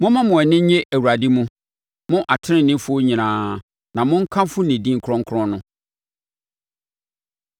Momma mo ani nnye Awurade mu, mo teneneefoɔ nyinaa, na monkamfo ne din kronkron no.